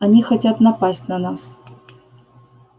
они хотят напасть на нас